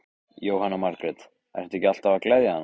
Jóhanna Margrét: Ertu ekki alltaf að gleðja hana?